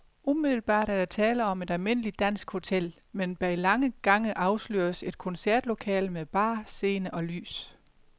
Umiddelbart er der tale om et almindeligt dansk hotel, men bag lange gange afsløres et koncertlokale med bar, scene og lys.